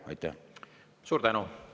Suur tänu!